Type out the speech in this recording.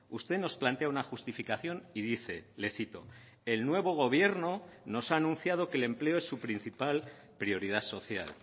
usted nos plantea una justificación y dice le cito el nuevo gobierno nos ha anunciado que el empleo es su principal prioridad social